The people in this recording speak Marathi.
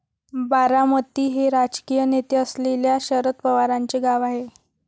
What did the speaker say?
बारामती हे राजकीय नेते असलेल्या शरद पवारांचे गाव आहे.